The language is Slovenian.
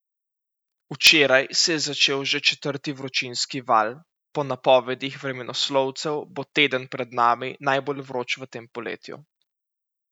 Včeraj se je začel že četrti vročinski val, po napovedih vremenoslovcev bo teden pred nami najbolj vroč v tem poletju.